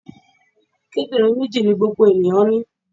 Kíndìnrín méjì ni gbogbo ènìyàn ní.